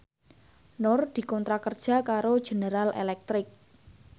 Nur dikontrak kerja karo General Electric